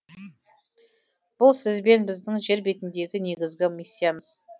бұл сіз бен біздің жер бетіндегі негізгі миссиямыз